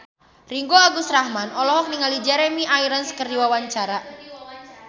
Ringgo Agus Rahman olohok ningali Jeremy Irons keur diwawancara